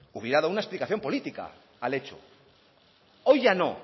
hubiera dado una explicación política al hecho hoy ya no